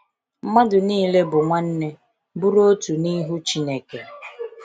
mmadụ niile bụ nwanne, bụrụ otu nihu Chineke.